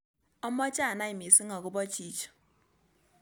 Amoche anai miising' agobo chichi